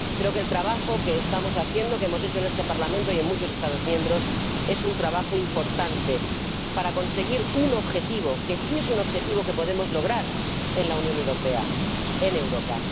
Creo que el trabajo que estamos haciendo, que hemos hecho en este Parlamento y en muchos Estados miembros, es un trabajo importante para conseguir un objetivo que sí es un objetivo que podemos lograr en la Unión Europea, en Europa.